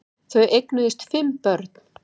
Þau eignuðust fimm börn